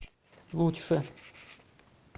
лучше